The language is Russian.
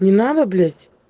не надо блять